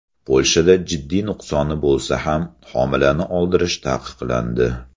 Polshada jiddiy nuqsoni bo‘lsa ham homilani oldirish taqiqlandi.